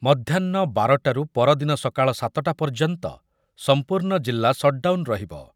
ମଧ୍ୟାହ୍ନ ବାରଟାରୁ ପରଦିନ ସକାଳ ସାତଟା ପର୍ଯ୍ୟନ୍ତ ସମ୍ପୂର୍ଣ୍ଣ ଜିଲ୍ଲା ସଟ୍‌ଡାଉନ୍ ରହିବ ।